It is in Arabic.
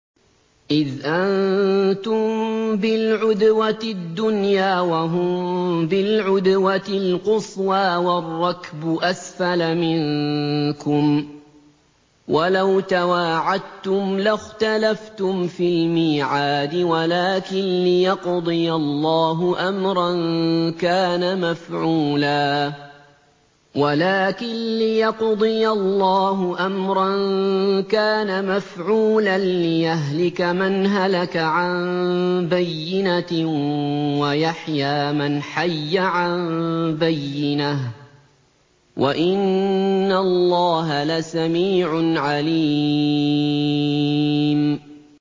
إِذْ أَنتُم بِالْعُدْوَةِ الدُّنْيَا وَهُم بِالْعُدْوَةِ الْقُصْوَىٰ وَالرَّكْبُ أَسْفَلَ مِنكُمْ ۚ وَلَوْ تَوَاعَدتُّمْ لَاخْتَلَفْتُمْ فِي الْمِيعَادِ ۙ وَلَٰكِن لِّيَقْضِيَ اللَّهُ أَمْرًا كَانَ مَفْعُولًا لِّيَهْلِكَ مَنْ هَلَكَ عَن بَيِّنَةٍ وَيَحْيَىٰ مَنْ حَيَّ عَن بَيِّنَةٍ ۗ وَإِنَّ اللَّهَ لَسَمِيعٌ عَلِيمٌ